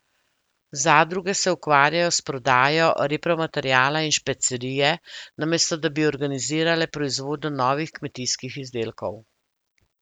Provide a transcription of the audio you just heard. Zadruge se ukvarjajo s prodajo repromateriala in špecerije, namesto da bi organizirale proizvodnjo novih kmetijskih izdelkov.